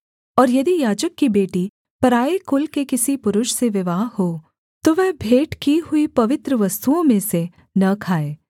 और यदि याजक की बेटी पराए कुल के किसी पुरुष से विवाह हो तो वह भेंट की हुई पवित्र वस्तुओं में से न खाए